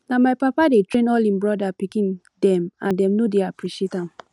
na my papa dey train all im brother pikin dem and dem no dey appreciate am